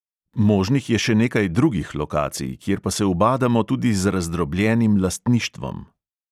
Možnih je še nekaj drugih lokacij, kjer pa se ubadamo tudi z razdrobljenim lastništvom.